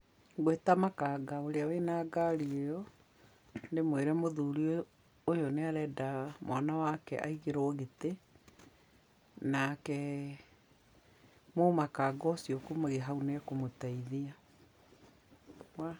Ngwĩta makanga ũrĩa wĩna ngari ĩyo ndĩmwĩre mũthuri ũyũ nĩarenda mwana wake aigĩrwo gĩtĩ nake mũmakanga ũcio kumania hau nĩakũmũteithia.